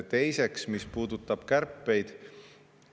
Teiseks, mis puudutab kärpeid.